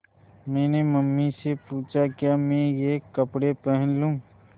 मैंने मम्मी से पूछा क्या मैं ये कपड़े पहन लूँ